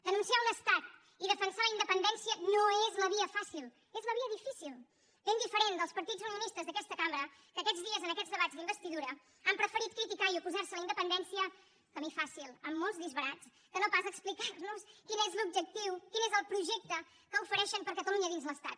denunciar un estat i defensar la independència no és la via fàcil és la via difícil ben diferent dels partits unionistes d’aquesta cambra que aquests dies en aquests debats d’investidura han preferit criticar i oposar se a la independència pel camí fàcil amb molts disbarats que no pas explicar nos quin és l’objectiu quin és el projecte que ofereixen per a catalunya dins l’estat